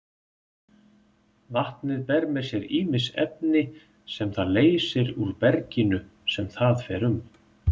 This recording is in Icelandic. Vatnið ber með sér ýmis efni sem það leysir úr berginu sem það fer um.